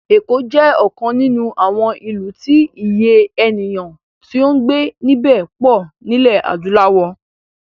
Èkó jẹ́ ọ̀kan nínú àwọn ìlú tí Iye ènìyàn tí ó ń gbé níbẹ̀ pọ̀ nílẹ̀ adúláwò